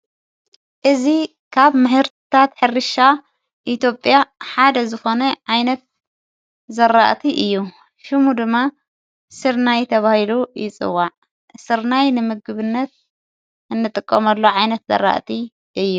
እዝ ኻብ ምህርታት ኅሪሻ ኢትጴያ ሓደ ዝኾነይ ዓይነት ዘራእቲ እዩ ሹሙ ድማ ሥርናይ ተብሂሉ ይፅዋዕ ሥርናይ ንምግብነት እንጥቆመሉ እዩዓይነት ዘረእቲ እዩ።